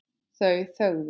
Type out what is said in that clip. Þau þögðu.